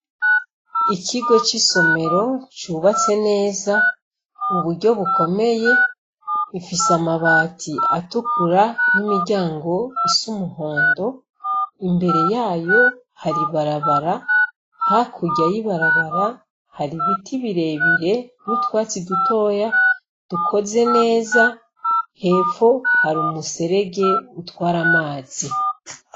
Ikigo c'isomero cubatse neza mu buryo bukomeye; gifise amabati atukura n'imiryango isa umuhondo. Imbere yayo hari barabara; hakurya y'ibarabara hari ibiti birebire n'utwatsi dutoya dukoze neza. Hepfo hari umuserege utwara amazi.